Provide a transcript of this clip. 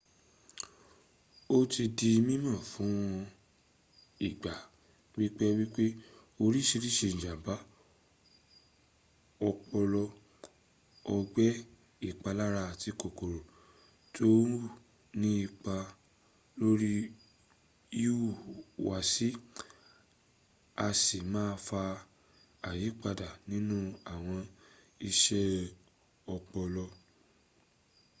o ti di mímọ̀ fún ìgbà pípẹ́ wípé oríṣiríṣi ìjàmbá ọpọlọ ọgbẹ́ ìpalára àti kòkòrò tó ń hù ní ipa lórí ìhùwàsí a si máà faa àyípadà nínú àwọn isẹ́ ọpọlọ